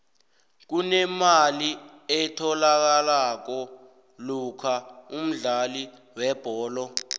kunemali etholakalako lokha umdlali webholo